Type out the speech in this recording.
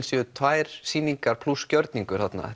séu tvær sýningar plús gjörningur þarna